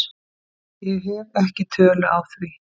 Ég hef ekki tölu á því.